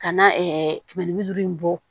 Ka na kɛmɛ ni bi duuru in bɔ